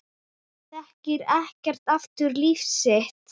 Þekkir ekki aftur líf sitt